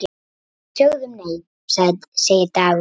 Við sögðum nei, segir Dagur.